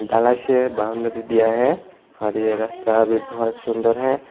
ढलाई से बाउंड्री दिया है और ये रस्ता अभी बहुत सुंदर है।